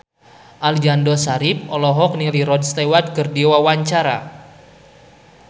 Aliando Syarif olohok ningali Rod Stewart keur diwawancara